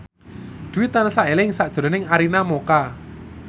Dwi tansah eling sakjroning Arina Mocca